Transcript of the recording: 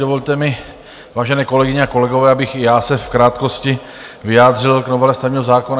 Dovolte mi, vážené kolegyně a kolegové, abych i já se v krátkosti vyjádřil k novele stavebního zákona.